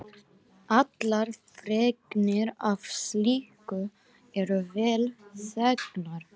Allar fregnir af slíku eru vel þegnar.